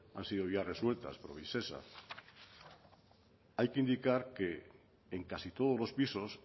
han sido ya resueltas por visesa hay que indicar que en casi todos los pisos